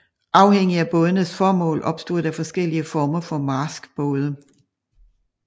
Afhængig af bådenes formål opstod der forskellige former for marskbåde